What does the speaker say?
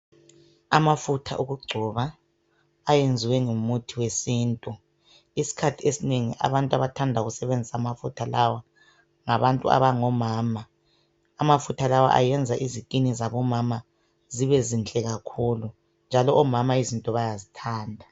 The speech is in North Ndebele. Amafutha okugcoba ayenzwe ngumuthi wesiNtu isikhathi esinengi abantu abathanda ukusebenzisa amafutha lawo ngabantu abangomama, amafutha lawa ayenza izikini zabomama zibe zinhle kakhulu omama izinto bayazithanda.